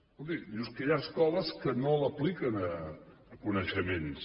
escolti diu és que hi ha escoles que no l’apliquen a coneixements